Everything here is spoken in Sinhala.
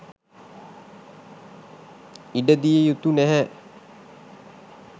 ඉඩදිය යුතු නැහැ.